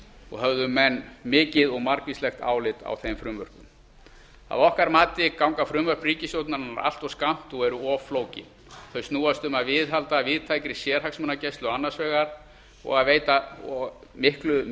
og höfðu menn mikið og margvíslegt álit á þeim frumvörpum að okkar mati ganga frumvörp ríkisstjórnarinnar allt of skammt og eru of flókin þau snúast um að viðhalda víðtækri sérhagsmunagæslu annars vegar og að veita mikið ráðherra mikið